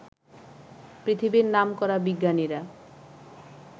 পৃথিবীর নামকরা বিজ্ঞানীরা